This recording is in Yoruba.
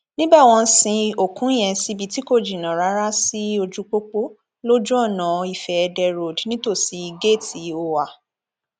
níbẹ wọn sin òkú yẹn síbi tí kò jìnnà rárá sí ojúupopo lójúọnà ifeédè road nítòsí géètì òà